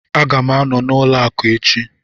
Aga m anọ n'ụlọ akụ echi